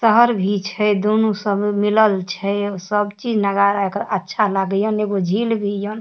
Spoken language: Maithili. शहर भी छे दोनों सब मिलल छे सब चीज नजारा एकर अच्छा लाग्यान एगो झील भी यन।